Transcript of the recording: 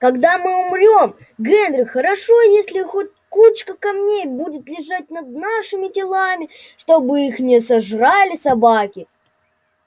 когда мы умрём генри хорошо если хоть кучка камней будет лежать над нашими телами чтобы их не сожрали собаки